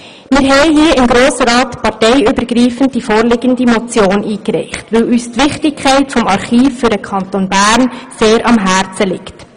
Wir haben hier im Grossen Rat parteiübergreifend die vorliegende Motion eingereicht, weil uns die Wichtigkeit dieses Archivs für den Kanton Bern sehr am Herzen liegt.